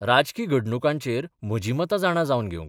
राजकी घडणुकांचेर म्हजी मतां जाणा जावन घेवंक.